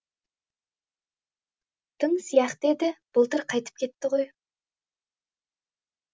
тың сияқты еді былтыр қайтып кетті ғой